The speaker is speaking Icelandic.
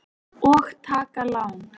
Og taka lán.